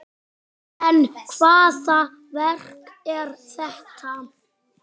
En hvaða verk er þetta?